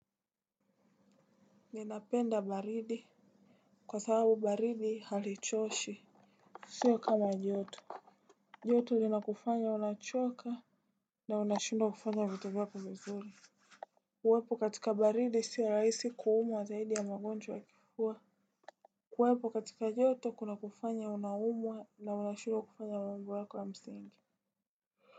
Ninapenda baridi. Kwa sababu baridi halichoshi. Sio kama joto, joto linakufanya unachoka. Na unashindwa kufanya vitu vako vizuri. Uwepo katika baridi si raisi kuumwa zaidi ya magonjwa ya kifuwa. Kuwepo katika joto kuna kufanya unaumwa na unashindwa kufanya mambo yako ya msingi.